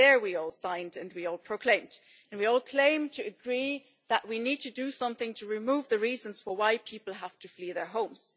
There also we all signed and we all proclaimed, and we all claimed to agree that we need to do something to remove the reasons for why people have to flee their homes.